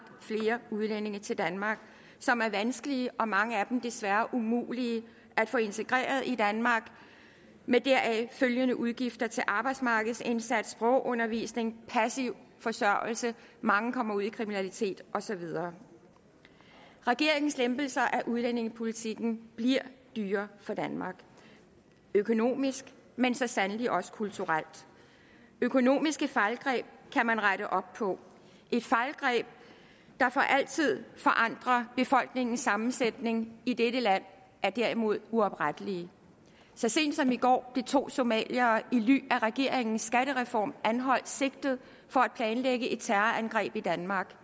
flere udlændinge til danmark som er vanskelige og mange af dem desværre umulige at få integreret i danmark med deraf følgende udgifter til arbejdsmarkedsindsats sprogundervisning og passiv forsørgelse mange kommer ud i kriminalitet og så videre regeringens lempelser af udlændingepolitikken bliver dyr for danmark økonomisk men så sandelig også kulturelt økonomiske fejlgreb kan man rette op på et fejlgreb der for altid forandrer befolkningens sammensætning i dette land er derimod uoprettelig så sent som i går blev to somaliere i ly af regeringens skattereform anholdt og sigtet for at planlægge et terrorangreb i danmark